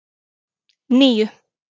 níu